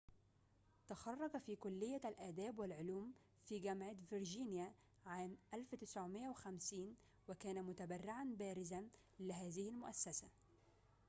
تخرّج في كلية الآداب والعلوم في جامعة فرجينيا عام 1950 وكان متبرعًا بارزًا لهذه المؤسسة